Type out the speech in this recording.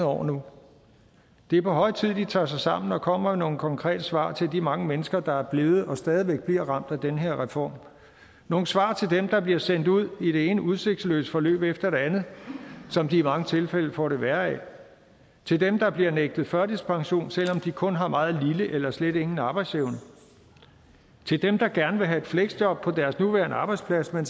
år nu det er på høje tid de tager sig sammen og kommer med nogle konkrete svar til de mange mennesker der er blevet og stadig væk bliver ramt af den her reform nogle svar til dem der bliver sendt ud i det ene udsigtsløse forløb efter det andet som de i mange tilfælde får det værre af til dem der bliver nægtet førtidspension selv om de kun har meget lille eller slet ingen arbejdsevne til dem der gerne vil have et fleksjob på deres nuværende arbejdsplads men